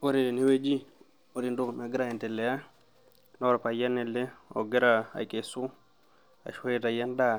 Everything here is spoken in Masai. Wore teneweji wore entoki nagira aendelea naa orpayian ele ogira akesu ashua aitayu endaa